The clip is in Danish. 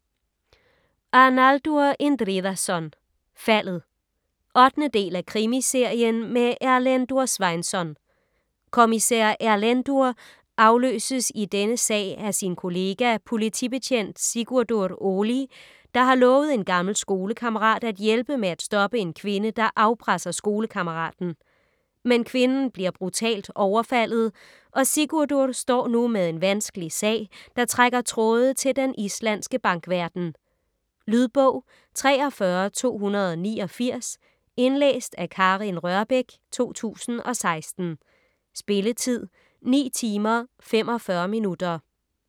Arnaldur Indriðason: Faldet 8. del af Krimiserien med Erlendur Sveinsson. Kommissær Erlendur afløses i denne sag af sin kollega, politibetjent Sigurdur Óli, der har lovet en gammel skolekammerat at hjælpe med at stoppe en kvinde, der afpresser skolekammeraten. Men kvinden bliver brutalt overfaldet og Sigurdur står nu med en vanskelig sag, der trækker tråde til den islandske bankverden. Lydbog 43289 Indlæst af Karin Rørbech, 2016. Spilletid: 9 timer, 45 minutter.